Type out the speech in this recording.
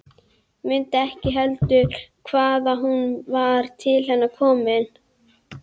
Mundi ekki heldur hvaðan hún var til hennar komin.